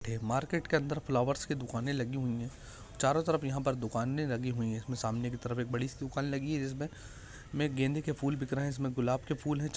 market के अंदर flowers के दुकाने लागी हुई है चारो तरफ यहाँ पर दुकाने लगी हुई है इसमे सामने की तरफ बड़ी सी दुकान लगी है जिसमे में गेंदे के फूल बिक रहे है गुलाब के फूल है च--